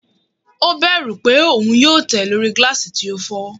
O bẹru pe oun yoo tẹ lori gilasi ti o fọ